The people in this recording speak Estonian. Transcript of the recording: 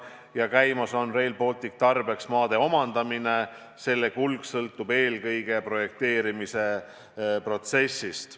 Samuti on käimas Rail Balticu tarbeks maade omandamine, selle kulg sõltub eelkõige projekteerimise protsessist.